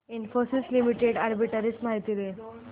Infosys limited arbitrage माहिती दे